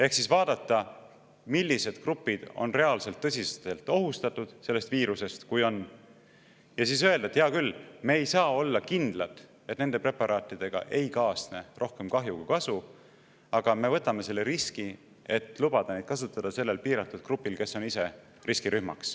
Ehk siis vaadata, millised grupid on reaalselt tõsiselt ohustatud sellest viirusest, kui on, ja siis öelda, et hea küll, me ei saa olla kindlad, et nende preparaatidega ei kaasne rohkem kahju kui kasu, aga me võtame selle riski ja lubame neid kasutada piiratud grupi peal, kes on riskirühm.